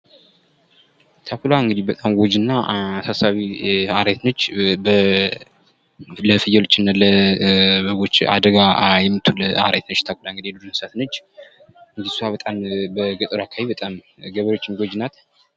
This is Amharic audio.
ተኩላ እንግዲህ በጣም ጎጂ እና አሳሳቢ አውሬ ነች ፤ ለፍየሎችና ለበጎች አደጋ የምትሆን አውሬ ነች የዱር እንስሳት ነች እሷ በጣም በገጠርማ አካባቢዎች ገበሬዎች ጎጂ ናት።